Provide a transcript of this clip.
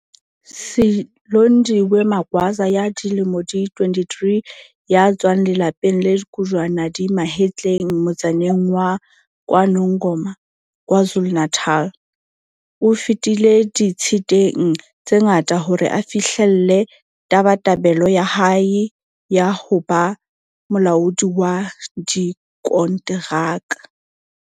Silondiwe Magwaza ya dilemo di 23 ya tswang lelapeng le kojwana di mahetleng motsaneng wa KwaNongoma, KwaZulu-Natal, o fetile di-tshiteng tse ngata hore a fi-hlelle tabatabelo ya hae ya ho ba molaodi wa dikonteraka.